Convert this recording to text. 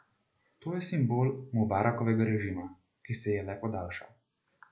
To je simbol Mubarakovega režima, ki se je le podaljšal.